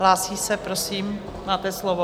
Hlásí se, prosím, máte slovo.